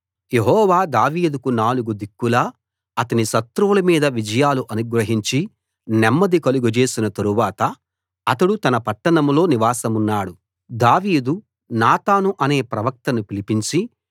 యెహోవా దావీదుకు నాలుగు దిక్కులా అతని శత్రువుల మీద విజయాలు అనుగ్రహించి నెమ్మది కలుగజేసిన తరువాత అతడు తన పట్టణంలో నివాసమున్నాడు దావీదు నాతాను అనే ప్రవక్తను పిలిపించి